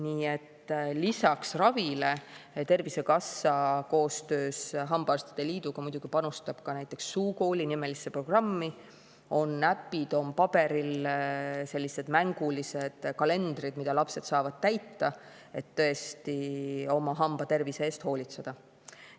Nii et lisaks ravile Tervisekassa koostöös hambaarstide liiduga muidugi panustab ka näiteks Suukooli-nimelisse programmi, on äpid, on paberil mängulised kalendrid, mida lapsed saavad täita, et tõesti oma hambatervise eest hoolitseda.